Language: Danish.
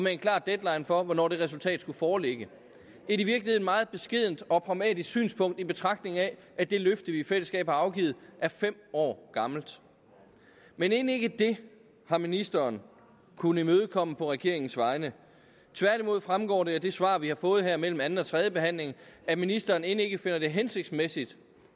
en klar deadline for hvornår det resultat skulle foreligge et i virkeligheden meget beskedent og pragmatisk synspunkt i betragtning af at det løfte vi i fællesskab har afgivet er fem år gammelt men end ikke det har ministeren kunnet imødekomme på regeringens vegne tværtimod fremgår det af det svar vi har fået her imellem anden og tredje behandling at ministeren end ikke finder det hensigtsmæssigt